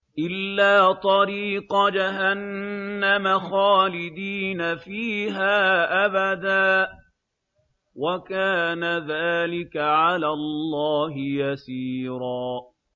إِلَّا طَرِيقَ جَهَنَّمَ خَالِدِينَ فِيهَا أَبَدًا ۚ وَكَانَ ذَٰلِكَ عَلَى اللَّهِ يَسِيرًا